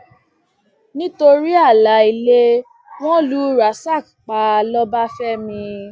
nítorí ààlà ilé wọn lu rasak pa lọbáfẹmi